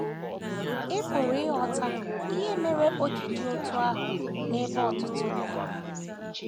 Ị pụrụ ịghọta ihe mere o ji dị otú ahụ n’ebe ọtụtụ ndị nọ.